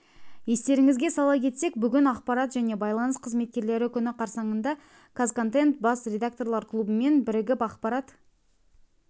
естеріңізге сала кетсек бүгін ақпарат және байланыс қызметкерлері күні қарсаңында қазконтент бас редакторлар клубымен бірігіп ақпарат